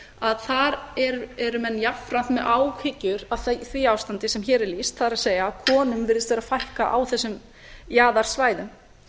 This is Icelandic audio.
að þar eru menn jafnframt með áhyggjur af því ástandi sem hér er lýst það er að konum virðist vera að fækka á þessum jaðarsvæðum